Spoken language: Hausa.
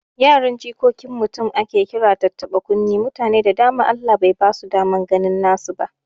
Yaran jikokin mutum ake kira tattaɓa kunne, mutane da dama Allah bai basu daman ganin nasu ba